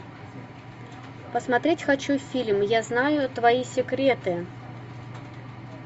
посмотреть хочу фильм я знаю твои секреты